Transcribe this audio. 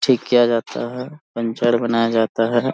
ठीक किया जाता है पंचर बनाया जाता है।